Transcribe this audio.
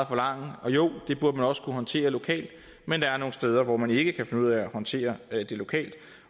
forlange og jo det burde man også kunne håndtere lokalt men der er nogle steder hvor man ikke kan finde ud af at håndtere det lokalt